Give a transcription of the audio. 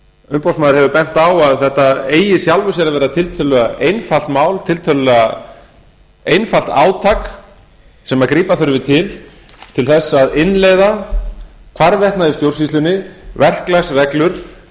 umboðsmaður hefur bent á að þetta eigi í sjálfu sér að vera tiltölulega einfalt mál tiltölulega einfalt átak sem grípa þurfi til til þess að innleiða hvarvetna í stjórnsýslunni verklagsreglur